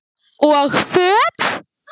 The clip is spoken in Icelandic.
Og föt?